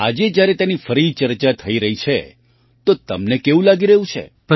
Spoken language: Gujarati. આજે જ્યારે તેની ફરી ચર્ચા થઈ રહી છે તો તમને કેવું લાગી રહ્યું છે